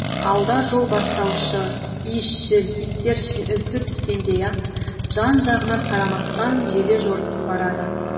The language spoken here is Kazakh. алда жол бастаушы иісшіл иттерше ізге түскендей ақ жан жағына қарамастан желе жортып барады